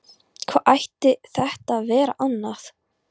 Hvað ætti þetta að vera annað?